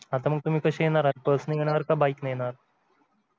आता मग तुम्ही कशे येणार आहात बस ने येणार का bike ने येणार